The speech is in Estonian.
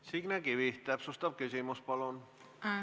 Signe Kivi, täpsustav küsimus, palun!